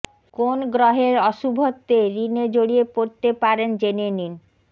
কোন গ্রহের অশুভত্বে ঋণে জড়িয়ে পড়তে পারেন জেনে নিন